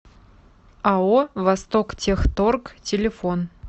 ао востоктехторг телефон